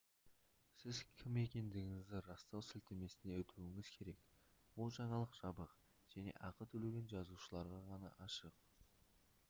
сіз кім екендігіңізді растау сілтемесіне өтуіңіз керек бұл жаңалық жабық және ақы төлеген жазылушыларға ғана ашық